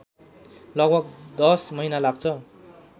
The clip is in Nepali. लगभग १० महिना लाग्छ